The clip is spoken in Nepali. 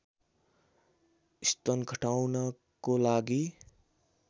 स्तन घटाउनको लागि